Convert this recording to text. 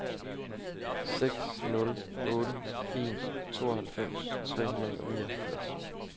seks nul otte en tooghalvfems tre hundrede og nioghalvfjerds